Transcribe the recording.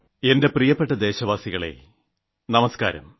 എന്റെ പ്രിയപ്പെട്ട ദേശവാസികളേ നമസ്ക്കാരം